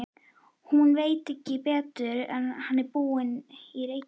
Hún veit ekki betur en hann búi í Reykjavík.